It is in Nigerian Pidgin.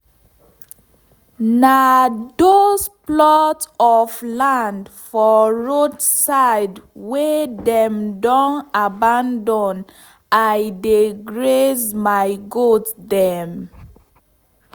na dos plot of land for roadside wey dem don abandon i dey graze my goat dem.